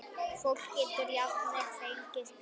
Fólk getur jafnvel fengið gulu.